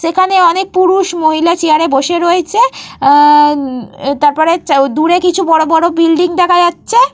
সেখানে অনেক পুরুষ মহিলা চেয়ার এ বসে রয়েছে। আঃ চা তারপরে দূরে কিছু বড় বড় বিল্ডিং দেখা যাচ্ছে।